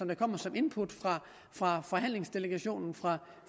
der kommer som input fra forhandlingsdelegationens